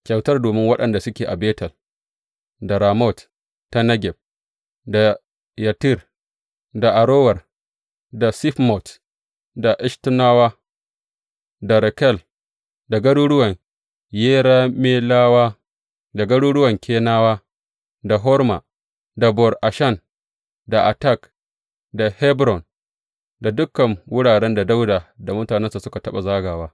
Kyautar domin waɗanda suke a Betel, da Ramot ta Negeb, da Yattir, da Arower, da Sifmot, da Eshtemowa, da Rakal, da garuruwan Yerameyelawa, da garuruwan Keniyawa, da Horma, da Bor Ashan, da Atak, da Hebron, da dukan wuraren da Dawuda da mutanensa suka taɓa zagawa.